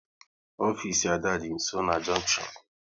Ofisi Ada dị nsọ na junktion